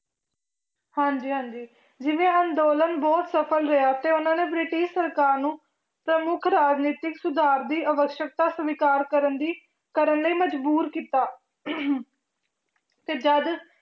ਹਾਂਂਜੀ ਹਾਂਜੀ ਜਿਵੇਂ ਅੰਦੋਲਨ ਬਹੁਤ ਸਫ਼ਲ ਰਿਹਾ ਤੇ ਉਹਨਾਂ ਨੇ ਬ੍ਰਿਟਿਸ਼ ਸਰਕਾਰ ਨੂੰ ਪ੍ਰਮੁੱਖ ਰਾਜਨੀਤਿਕ ਸੁਧਾਰ ਦੀ ਆਵਸਕਤਾ ਸਵੀਕਾਰ ਕਰਨ ਦੀ ਕਰਨ ਲਈ ਮਜ਼ਬੂਰ ਕੀਤਾ ਤੇ ਜਦ